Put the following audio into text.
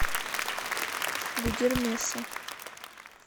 гудермеса